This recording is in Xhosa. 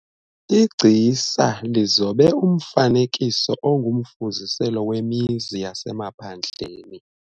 Igcisa lizobe umfanekiso ongumfuziselo wemizi yasemaphandleni.